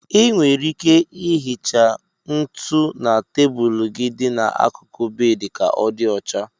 Ị nwere ike ihicha ntụ na tebụlụ gị dị n'akụkụ bedị ka ọ dị ocha.